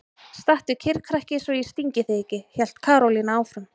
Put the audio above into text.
Stattu kyrr krakki svo ég stingi þig ekki! hélt Karólína áfram.